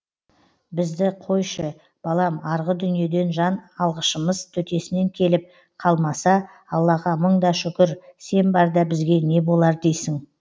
бізді қойшы балам арғы дүниеден жан алғышымыз төтесінен келіп қалмаса аллаға мың да шүкір сен барда бізге не болар дейсің